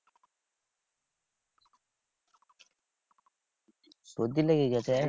সর্দি লেগে গেছে?